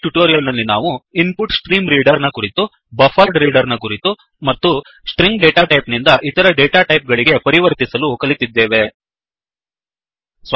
ಈ ಟ್ಯುಟೋರಿಯಲ್ ನಲ್ಲಿ ನಾವು input stream reader input stream reader ನ ಕುರಿತು ಬಫರೆಡ್ರೀಡರ್ ಬಫ್ಫರ್ಡ್ ರೀಡರ್ ನ ಕುರಿತು ಮತ್ತು ಸ್ಟ್ರಿಂಗ್ ಡೇಟಾ ಟೈಪ್ ನಿಂದ ಇತರ ಡೇಟಾಟೈಪ್ ಗಳಿಗೆ ಪರಿವರ್ತಿಸಲು ಕಲಿತಿದ್ದೇವೆ